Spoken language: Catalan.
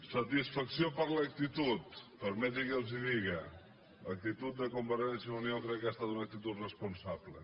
satisfacció per l’actitud permetin me que els ho digui l’actitud de convergència i unió crec que ha estat una actitud responsable